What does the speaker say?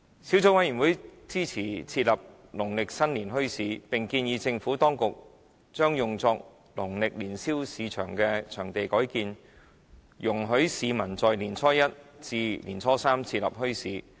小組委員會支持設立農曆新年墟市，並建議將用作農曆年宵市場的場地改建，容許市民在年初一至年初三設立墟市。